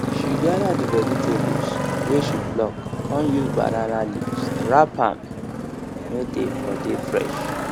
she gather the vegetables wey she pluck con use banana leaves wrap am may dey for dey fresh